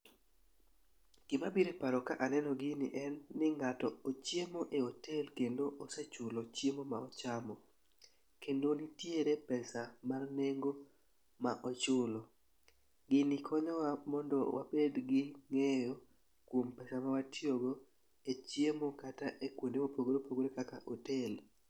Gima biro e paro ka aneno gini en ni, ng'ato ochiemo e hotel kendo osechulo chiemo ma ochamo. Kendo nitiere pesa mar nengo ma ochulo. Gini konyowa mondo wabed gi ng'eyo kuom pesa ma watiyogo e chiemo kata e kuonde ma opogore opogore kaka e hotel.